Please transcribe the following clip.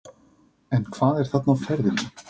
En hvað er þarna á ferðinni?